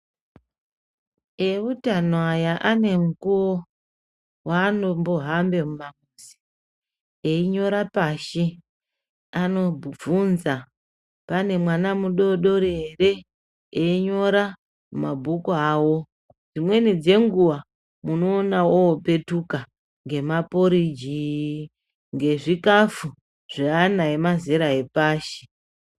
Ewutano aya anemukuwo waanombohambe mumamizi einyora pashi anobvunza pane mwana mudodori ere einyora mumabhuku awo dzimweni dzenguwa munoona opetuka ngemaporiji ngezvikafu zveana emazera epashi.